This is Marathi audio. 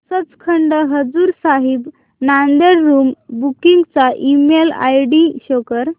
सचखंड हजूर साहिब नांदेड़ रूम बुकिंग चा ईमेल आयडी शो कर